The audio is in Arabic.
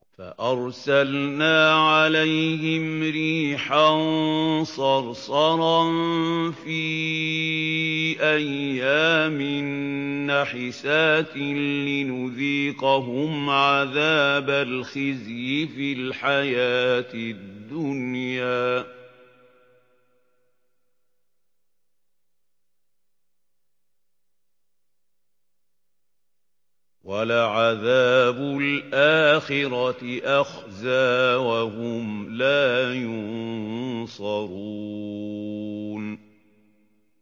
فَأَرْسَلْنَا عَلَيْهِمْ رِيحًا صَرْصَرًا فِي أَيَّامٍ نَّحِسَاتٍ لِّنُذِيقَهُمْ عَذَابَ الْخِزْيِ فِي الْحَيَاةِ الدُّنْيَا ۖ وَلَعَذَابُ الْآخِرَةِ أَخْزَىٰ ۖ وَهُمْ لَا يُنصَرُونَ